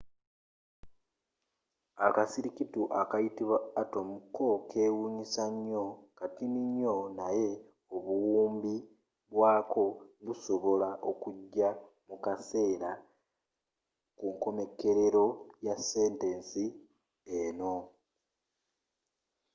akasirikitu akayitibwa atom cokewunyisa nyoo katini nyoo naye obuwumbi bwako busobola okuja mukaseera kunkomerero ya sentesi eno